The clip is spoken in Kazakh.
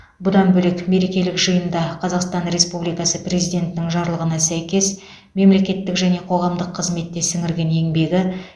бұдан бөлек мерекелік жиында қазақстан республикасы президентінің жарлығына сәйкес мемлекеттік және қоғамдық қызметте сіңірген еңбегі